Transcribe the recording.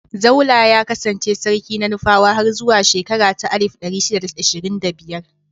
Zaulla ya kassance sarki na Nufawa har zuwa shekara ta alif ɗari shida da ashirin da biyar.